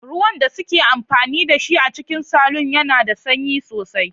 Ruwan da suke amfani da shi a cikin salon yana da sanyi sosai.